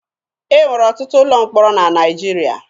E nwere ọtụtụ ụlọ mkpọrọ na Naịjirịa.